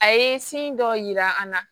A ye sin dɔ yira an na